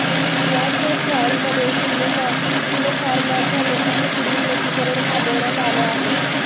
याच ट्रायलमध्ये सिनोफार्माच्या लसीचे पुढील लसीकरण थांबवण्यात आलं आहे